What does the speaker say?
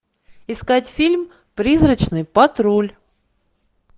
искать фильм призрачный патруль